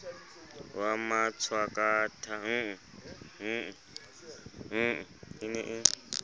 wa matshwakatha e ne e